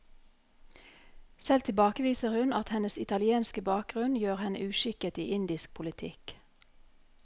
Selv tilbakeviser hun at hennes italienske bakgrunn gjør henne uskikket i indisk politikk.